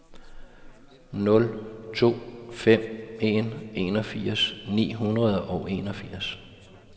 nul to fem en enogfirs ni hundrede og enogfirs